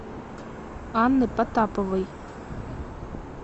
анны потаповой